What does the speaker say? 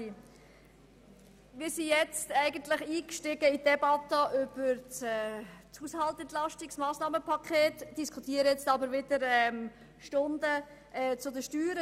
Wir sind nun in die Debatte über das Entlastungspaket eingestiegen, diskutieren jetzt aber stundenlang über die Steuern.